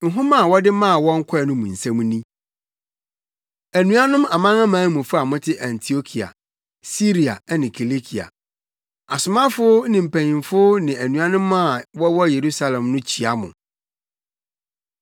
Nhoma a wɔde maa wɔn kɔe no mu nsɛm ni: Anuanom amanamanmufo a mote Antiokia, Siria ne Kilikia, Asomafo ne mpanyimfo ne anuanom a wɔwɔ Yerusalem no kyia mo.